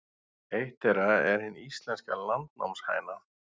Eitt þeirra er hin íslenska landnámshæna.